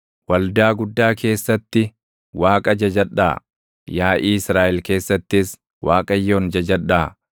Waldaa guddaa keessatti Waaqa jajadhaa; yaaʼii Israaʼel keessattis Waaqayyoon jajadhaa.